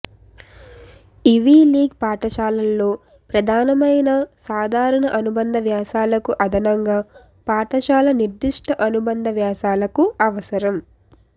ivy League పాఠశాలల్లో ప్రధానమైన సాధారణ అనుబంధ వ్యాసాలకు అదనంగా పాఠశాల నిర్దిష్ట అనుబంధ వ్యాసాలకు అవసరం